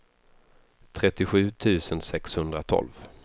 trettiosju tusen sexhundratolv